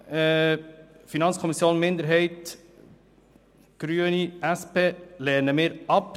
Den Antrag der FiKo-Minderheit, der Grünen und der SP lehnen wir ab.